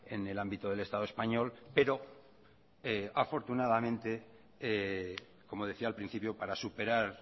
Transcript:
en el ámbito del estado español pero afortunadamente como decía al principio para superar